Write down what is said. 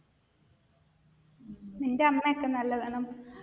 നിന്റെ അമ്മയൊക്കെ